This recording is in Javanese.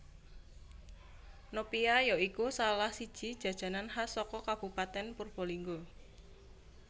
Nopia ya iku salah siji jajanan khas saka kabupatèn Purbalingga